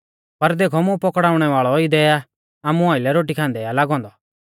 पर देखौ मुं पौकड़ाउणै वाल़ौ इदै आ आमु आइलै रोटी खान्दै लागौ औन्दौ